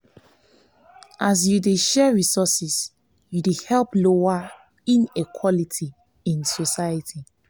if yu get extra food or clothes share dem with dose wey nid am. am.